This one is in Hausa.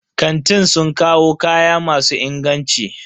Kantin sun kawo kaya masu inganci.